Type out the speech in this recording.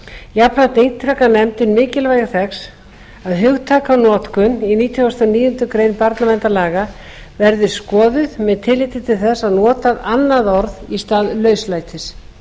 jafnframt ítrekar nefndin mikilvægi þess að hugtakanotkun í nítugasta og níundu grein barnaverndarlaga verði skoðuð með tilliti til þess að nota annað orð í stað lauslætis